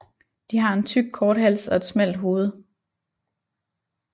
De har en tyk kort hals og et smalt hoved